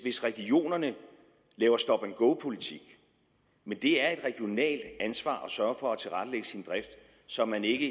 regionerne laver stop and go politik men det er et regionalt ansvar at sørge for at tilrettelægge sin drift så man ikke